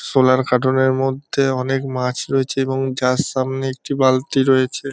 শোলার কাটুনের মধ্যে অনেক মাছ রয়েছে এবং যার সামনে একটি বালতি রয়েছে।